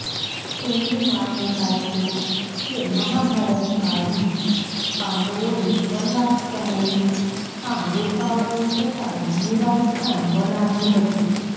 તેમની માન્યતા છે કે મહાભારતકાળમાં પાંડવોએ વનવાસ સમયે આ ગુફાઓને પોતાનું નિવાસસ્થાન બનાવ્યું હતું